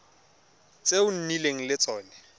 tse o nnileng le tsone